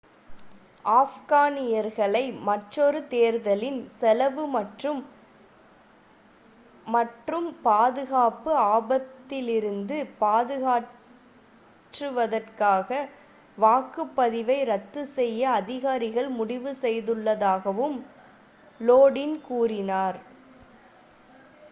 ஆப்கானியர்களை மற்றொரு தேர்தலின் செலவு மற்றும் மற்றும் பாதுகாப்பு ஆபத்திலிருந்து காப்பாற்றுவதற்காக வாக்குப்பதிவை ரத்து செய்ய அதிகாரிகள் முடிவு செய்துள்ளதாகவும் லோடின் கூறினார்